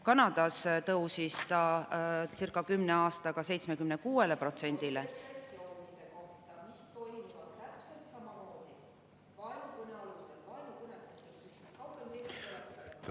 Kanadas tõusis see circa kümne aastaga 76%‑le …